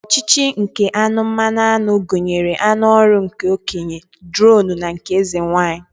Ọchịchị ike aṅụ mmanụaṅụ gụnyere aṅụ ọrụ nke okenye, dronu na nke eze nwaanyị